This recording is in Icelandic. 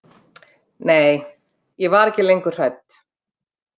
Nei, ég var ekki lengur hrædd.